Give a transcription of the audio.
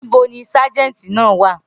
Nibo ni Sájẹ̀ntì náà wa?